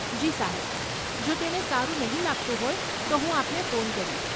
જી સાહેબ, જો તેને સારું નહીં લાગતું હોય, તો હું આપને ફોન કરીશ.